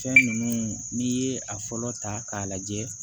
Fɛn ninnu n'i ye a fɔlɔ ta k'a lajɛ